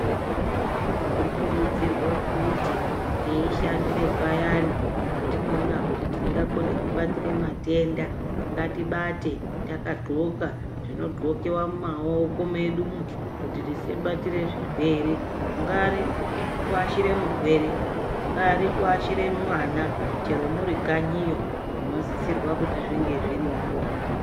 Tinokurudzirwa kuti teishandire payani patinoona kuti tingakone kubatira matenda ngatibate takagokla zvinogoklewa mumaoko medu kuti tisabatira zvirwere. Kungave kuashira murwere, kungave kuashira mwana chero muri kanyiyo munosisirwa kuti zvinge zviripo.